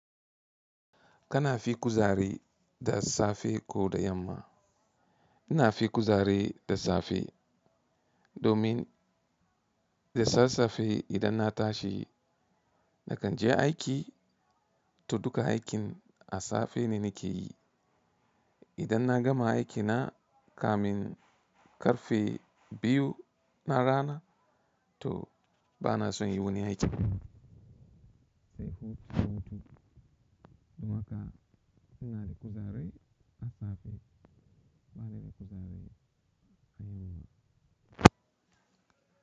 Kana fi kuzari da safe ko da yamma? Ina fi kuzari da safe domin da sassafe idan na tashi nakan je aiki to duka aikin a safe ne nake yi. Idan na gama aikina kamin karfe biyu na rana to bana son yi wani aiki. Saifude, Saifude. Don haka ina da kuzari a safe bana da kuzari a yamma.